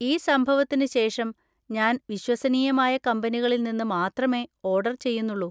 ഈ സംഭവത്തിന് ശേഷം ഞാൻ വിശ്വസനീയമായ കമ്പനികളിൽ നിന്ന് മാത്രമേ ഓർഡർ ചെയ്യുന്നുള്ളു.